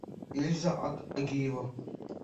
ильза агиева